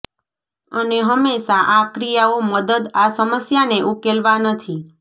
અને હંમેશા આ ક્રિયાઓ મદદ આ સમસ્યાને ઉકેલવા નથી